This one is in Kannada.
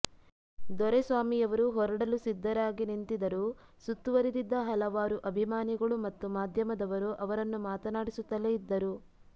ದೊರೆಸ್ವಾಮಿಯವರು ಹೊರಡಲು ಸಿದ್ಧರಾಗಿ ನಿಂತಿದರೂ ಸುತ್ತುವರಿದಿದ್ದ ಹಲವಾರು ಅಭಿಮಾನಿಗಳು ಮತ್ತು ಮಾಧ್ಯಮದವರು ಅವರನ್ನು ಮಾತನಾಡಿಸುತ್ತಲೇ ಇದ್ದರು